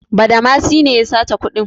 Badamasi ne ya sace kuɗin.